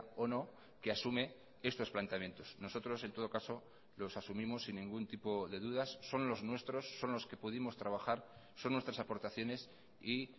o no que asume estos planteamientos nosotros en todo caso los asumimos sin ningún tipo de dudas son los nuestros son los que pudimos trabajar son nuestras aportaciones y